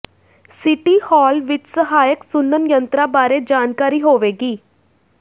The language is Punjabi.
ਸਿਟੀ ਹਾਲ ਵਿਚ ਸਹਾਇਕ ਸੁਣਨ ਯੰਤਰਾਂ ਬਾਰੇ ਜਾਣਕਾਰੀ ਹੋਵੇਗੀ